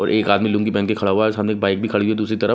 और एक आदमी लूंगी पेहन के खड़ा हुआ है सामने एक बाइक भी खड़ी है दूसरी तरफ--